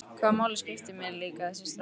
Hvaða máli skiptir mig líka þessi strákur?